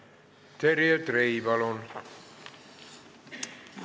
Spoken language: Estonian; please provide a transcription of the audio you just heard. Terje Trei, palun!